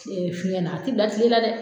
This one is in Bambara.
fiɲɛ na, a tɛ bila tile la dɛ!